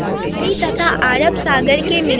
खाड़ी तथा अरब सागर के मिलन